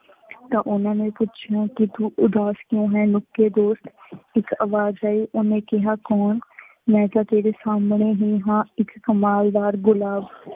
ਤਾਂ ਉਹਨਾ ਨੇ ਪੁੱਛਿਆ ਕਿ ਤੂੰ ਉਦਾਸ ਕਿਓਂ ਹੈ, ਨਿੱਕੇ ਦੋਸਤ, ਇੱਕ ਆਵਾਜ਼ ਆਈ, ਉਹਨੇ ਕਿਹਾ ਕੌਣ, ਮੈਂ ਕਿਹਾ ਤੇਰੇ ਸਾਹਮਣੇ ਹੀ ਹਾਂ ਇੱਕ ਕਮਾਲਦਾਰ ਗੁਲਾਬ।